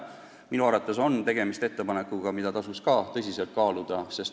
Minu arvates on tegemist ettepanekuga, mida tasuks tõsiselt kaaluda.